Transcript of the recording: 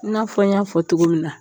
I n'a fɔ n y'a fɔ cogo min na